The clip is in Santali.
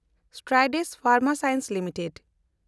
Strides Pharma Science limited